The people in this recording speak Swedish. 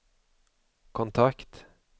kontakt